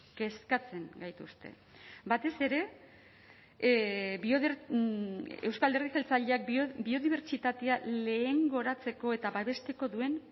kezkatzen gaituzte batez ere euzko alderdi jeltzaleak biodibertsitatea lehengoratzeko eta babesteko duen